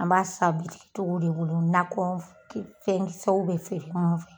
An b'a san bitikitgiw de bolo nakɔ ki fɛnkisɛw bɛ feere minnu fɛ.